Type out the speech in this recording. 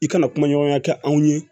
I kana kuma ɲɔgɔnya kɛ anw ye